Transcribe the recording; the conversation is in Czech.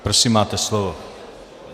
Prosím, máte slovo.